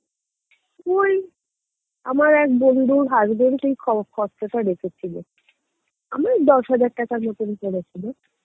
ওই আমার এক বন্ধুর husband ই খর~ খরচটা রেখেছিলো, আমার দশ হাজার টাকার মতো পড়েছিল